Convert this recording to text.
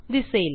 दिसेल